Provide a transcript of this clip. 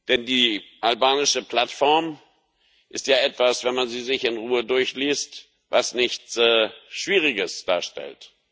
Denn die albanische Plattform ist ja, wenn man sie sich in Ruhe durchliest, etwas, was nichts Schwieriges darstellt.